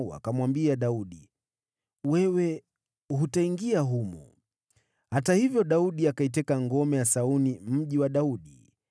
wakamwambia Daudi, “Wewe hutaingia humu.” Hata hivyo, Daudi akaiteka ngome ya Sayuni, Mji wa Daudi.